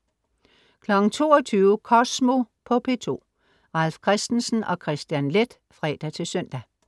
22.00 Kosmo på P2. Ralf Christensen og Kristian Leth (fre-søn)